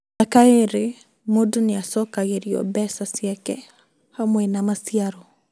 Mĩaka ĩrĩ mũndũ nĩacokagirio mbeca ciake hamwe na maciaro